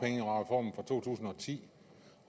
ti